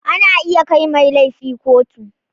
Ana iya kai mai laifi kotu.